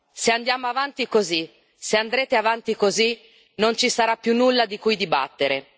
Se andiamo avanti così, se andrete avanti così, non ci sarà più nulla di cui dibattere.